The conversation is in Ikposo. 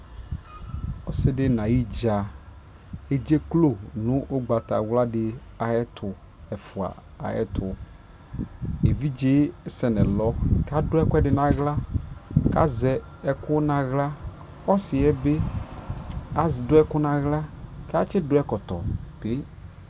ɔsiidi nʋ ayi dza ɛdzɛklɔ nʋ ɔgbatawla di ayɛtʋ, ɛƒʋa ayɛtʋ, ɛvidzɛ sɛnʋ ɛlɔ kʋ adʋ ɛkʋɛdi nʋ ala kʋ azɛ ɛkʋ nʋ ala, ɔsiiɛ bi adʋ ɛkʋ nʋ ala kʋ atsi dʋ ɛkɔtɔ kè